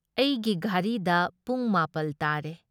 ꯑꯩꯒꯤ ꯘꯔꯤꯗ ꯄꯨꯡ ꯃꯥꯄꯜ ꯇꯥꯔꯦ ꯫